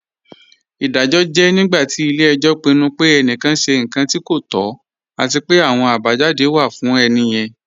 Iḍajọ jẹ̀ nígbàtí ilẹ̀-ẹ̀jọ pinnu pẹ̀ ènìkán ṣẹ̀ nkàn tí kò tọ̀, àti pẹ̀ àwọn àbájádé wa fún ènìyẹn.